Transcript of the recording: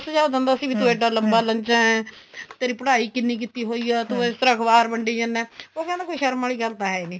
ਸੁਝਾ ਦਿੰਦਾ ਸੀ ਇੱਡਾ ਲੰਬਾ ਲੰਜਾ ਤੇਰੀ ਪੜ੍ਹਾਈ ਕਿੰਨੀ ਕੀਤੀ ਹੋਈ ਏ ਤੂੰ ਇਸ ਤਰ੍ਹਾਂ ਅਖਬਾਰ ਵੰਡੀ ਜਨਾ ਉਹ ਕਹਿੰਦਾ ਕੋਈ ਸ਼ਰਮ ਵਾਲੀ ਗੱਲ ਤਾਂ ਹੈ ਨੀ